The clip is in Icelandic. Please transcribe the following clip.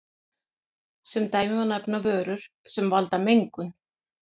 Sem dæmi má nefna vörur sem valda mengun.